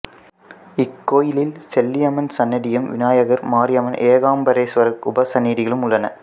இக்கோயிலில் செல்லியம்மன் சன்னதியும் விநாயகர் மாரியம்மன் ஏகாம்பரேஸ்வரர் உபசன்னதிகளும் உள்ளன